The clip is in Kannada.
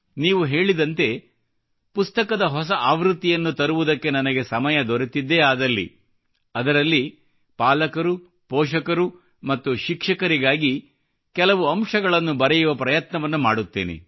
ನೀವು ಹೇಳಿದಂತೆ ಪುಸ್ತಕದ ಹೊಸ ಆವೃತ್ತಿಯನ್ನು ತರುವುದಕ್ಕೆ ನನಗೆ ಸಮಯ ದೊರೆತಿದ್ದೇ ಆದಲ್ಲಿ ಅದರಲ್ಲಿ ಪಾಲಕರು ಪೋಷಕರು ಮತ್ತು ಶಿಕ್ಷಕರಿಗಾಗಿ ಕೆಲವು ಅಂಶಗಳನ್ನು ಬರೆಯುವ ಪ್ರಯತ್ನವನ್ನು ಮಾಡುತ್ತೇನೆ